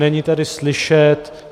Není tady slyšet.